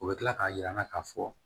U bɛ tila k'a yir'an na k'a fɔ